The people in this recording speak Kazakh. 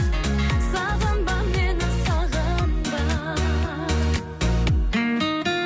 сағынба мені сағынба